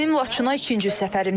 Bu mənim Laçına ikinci səfərimdir.